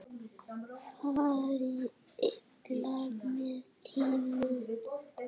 Fari illa með tímann.